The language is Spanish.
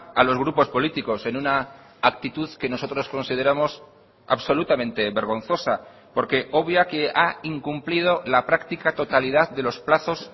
a los grupos políticos en una actitud que nosotros consideramos absolutamente vergonzosa porque obvia que ha incumplido la práctica totalidad de los plazos